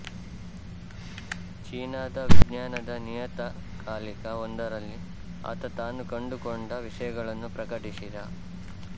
ಚೀನಾದ ವಿಜ್ಞಾನದ ನಿಯತಕಾಲಿಕವೊಂದರಲ್ಲಿ ಆತ ತಾನು ಕಂಡುಕೊಂಡ ವಿಷಯಗಳನ್ನು ಪ್ರಕಟಿಸಿದ